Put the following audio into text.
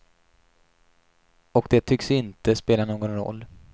Och det tycks inte spela någon roll.